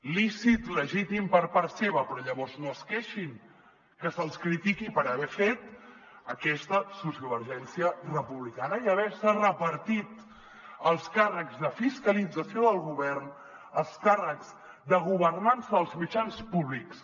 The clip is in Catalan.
lícit legítim per part seva però llavors no es queixin que se’ls critiqui per haver fet aquesta sociovergència republicana i haver se repartit els càrrecs de fiscalització del govern els càrrecs de governança dels mitjans públics